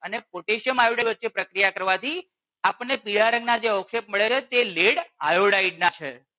અને potassium iodide વચ્ચે પ્રક્રિયા કરવાથી આપણને પીળા રંગના જે અવક્ષેપ મળ્યા તે lead iodide ના છે